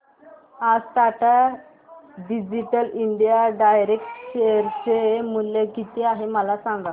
आज Tata digital India direct share चे मूल्य किती आहे मला सांगा